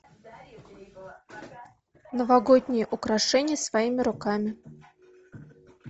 новогодние украшения своими руками